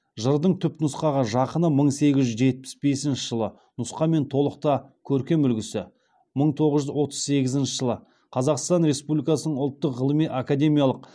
жырдың түпнұсқаға жақыны мың сегіз жүз жетпіс бесінші жылы нұсқа мен толық та көркем үлгісі мың тоғыз жүз отыз сегізінші жылы қазақстан республикасының ұлттық ғылыми академиялық